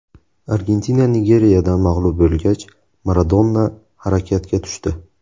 Argentina Nigeriyadan mag‘lub bo‘lgach, Maradona harakatga tushdi.